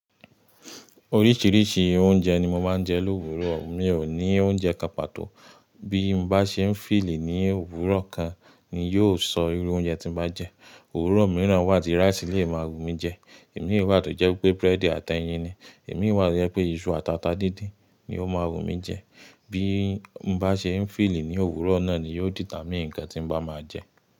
Oríṣìíríṣìí oúnjẹ ni mo máa ń jẹ l’òwúrò. Mi ò ní oúnjẹ kán pàto Bí mo bá ṣe ń feel i ní òwúrò kan ni yóò sọ irú oúnjẹ tí n bá jẹ. Òwúrò mìíràn wà tí rice lè máa wù mí jẹ. Imi wà tó jẹ́ wípé bread àti ẹyin ni. Èmi wà tó jẹ́ pé iṣu àtàtà díndín ni ó máa wù mí jẹ. Bí mo bá ṣe ń feeli ní òwúrò náà ni yóò determine ǹkan tí mo bá máa jẹ.